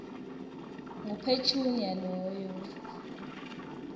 ngu petunia loyo